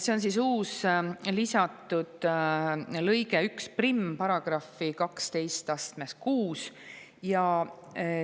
See on siis uus, § 126 lisatud lõige 11.